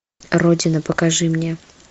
родина покажи мне